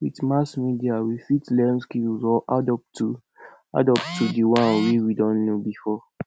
with mass media we fit learn skills or add up to add up to di one wey we don know before